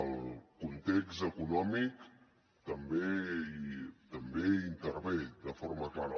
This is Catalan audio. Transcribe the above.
el context econòmic també hi intervé de forma clara